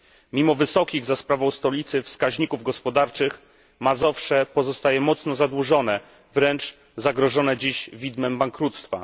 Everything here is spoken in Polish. Mimo wysokich za sprawą stolicy wskaźników gospodarczych, Mazowsze pozostaje mocno zadłużone, wręcz zagrożone dziś widmem bankructwa.